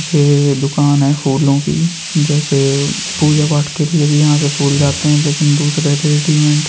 ये दुकान है फूलों की जैसे पूजा पाठ के लिए भी यहाँ से फूल लाते हैं लेकिन दूसरे रेडिमेड --